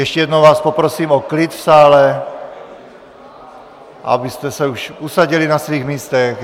Ještě jednou vás poprosím o klid v sále, abyste se už usadili na svých místech.